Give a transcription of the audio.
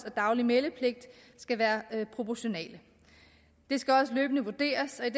og daglig meldepligt skal være proportionale det skal også løbende vurderes og i